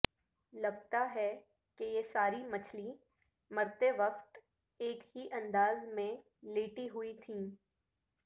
لگتا ہے کہ یہ ساری مچھلیں مرتے وقت ایک ہی انداز میں لیٹی ہوئی تھیں